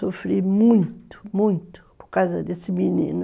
Sofri muito, muito por causa desse menino.